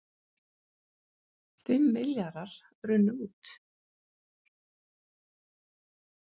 Fimm milljarðar runnu út